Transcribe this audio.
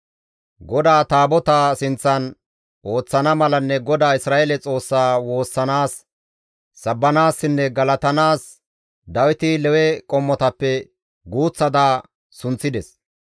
GODAA Taabotaa sinththan ooththana malanne GODAA Isra7eele Xoossa woossanaas, sabbanaassinne galatanaas Dawiti Lewe qommotappe guuththata sunththides.